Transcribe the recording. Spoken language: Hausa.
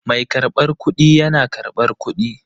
Mai karbar kuɗi yana karɓar kuɗi.